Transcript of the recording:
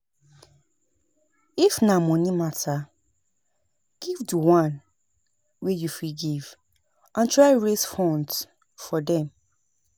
If na money matter give di one wey you fit give and try raise funds for dem